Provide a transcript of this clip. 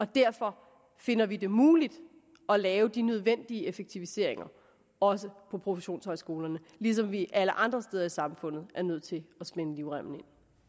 derfor finder vi det muligt at lave de nødvendige effektiviseringer også på professionshøjskolerne ligesom vi alle andre steder i samfundet er nødt til at spænde livremmen